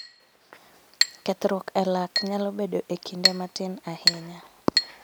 Kethruok e lak nyalo bedo e kinde matin ahinya